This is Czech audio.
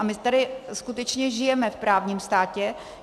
A my tady skutečně žijeme v právním státě.